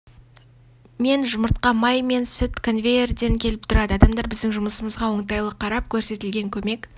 мен жұмыртқа май мен сүт конвейердей келіп тұрады адамдар біздің жұмысымызға оңтайлы қарап көрсетілген көмек